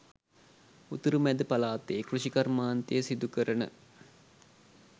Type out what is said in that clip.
උතුරු මැද පළාතේ කෘෂිකාර්මාන්තය සිදු කරන